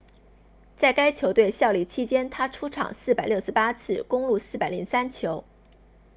在该球队效力期间他出场468次攻入403球